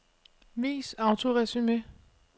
Vis autoresumé.